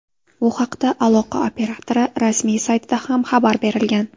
Bu haqda aloqa operatori rasmiy saytida ham xabar berilgan .